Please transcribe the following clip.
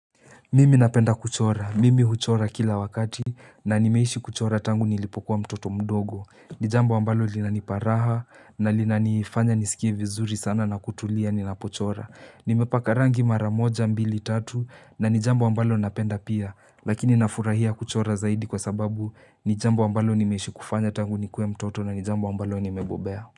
Mimi napenda kuchora. Mimi huchora kila wakati na nimeishi kuchora tangu nilipokuwa mtoto mdogo. Ni jambo ambalo linanipa raha na linanifanya nisikie vizuri sana na kutulia ninapochora. Nimepaka rangi mara moja mbili tatu na ni jambo ambalo napenda pia. Lakini nafurahia kuchora zaidi kwa sababu ni jambo ambalo nimeishi kufanya tangu nikuwe mtoto na ni jambo ambalo nimebobea.